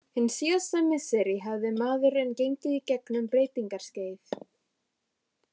Hin síðari misseri hafði maðurinn gengið í gegn um breytingaskeið.